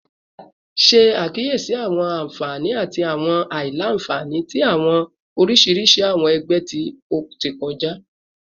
Ti ṣe akiyesi awọn anfani ati awọn alailanfani ti awọn oriṣiriṣi awọn ẹgbẹ ti o ti kọja